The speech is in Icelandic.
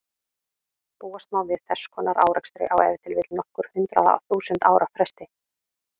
Búast má við þess konar árekstri á ef til vill nokkur hundruð þúsund ára fresti.